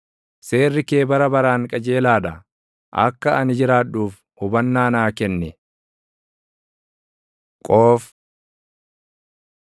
Seerri kee bara baraan qajeelaa dha; akka ani jiraadhuuf hubannaa naa kenni. ק Qoof